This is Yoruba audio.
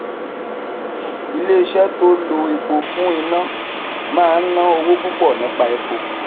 iléeṣé tó lo epo fún iná máa ná owó púpò nípa epo